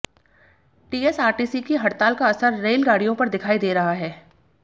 TSRTC की हड़ताल का असर रेलगाडियों पर दिखाई दे रहा हैं